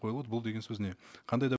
бұл деген сөз не қандай да